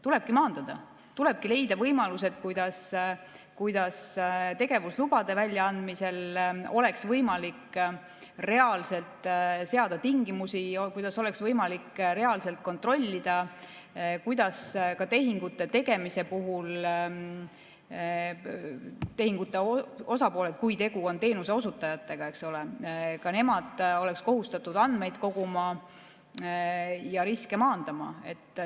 Tulebki maandada, tulebki leida võimalused, kuidas tegevuslubade väljaandmisel oleks võimalik reaalselt seada tingimusi, kuidas oleks võimalik reaalselt kontrollida, kuidas ka tehingute tegemise puhul tehingute osapooled, kui tegu on teenuseosutajatega, eks ole, oleksid kohustatud andmeid koguma ja riske maandama.